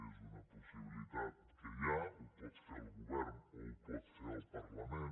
és una possibilitat que hi ha ho pot fer el govern o ho pot fer el parlament